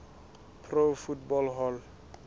pro football hall